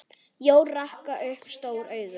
Jói rak upp stór augu.